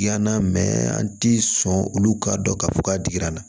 Yann'a mɛ an ti sɔn olu k'a dɔn k'a fɔ k'a digira n na